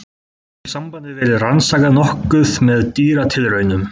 Þá hefur sambandið verið rannsakað nokkuð með dýratilraunum.